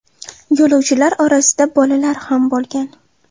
Yo‘lovchilar orasida bolalar ham bo‘lgan.